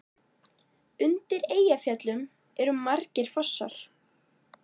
Undir Eyjafjöllum eru margir fossar.